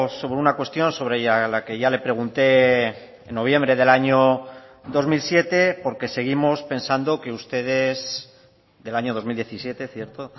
sobre una cuestión sobre la que ya le pregunté en noviembre del año dos mil siete porque seguimos pensando que ustedes del año dos mil diecisiete cierto